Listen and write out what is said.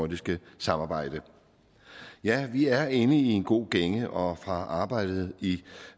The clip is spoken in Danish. nordiske samarbejde ja vi er inde i en god gænge og fra arbejdet i